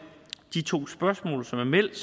de to spørgsmål som er meldt